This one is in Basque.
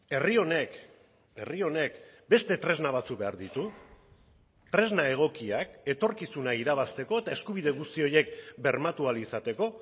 herri honek herri honek beste tresna batzuk behar ditu tresna egokiak etorkizuna irabazteko eta eskubide guzti horiek bermatu ahal izateko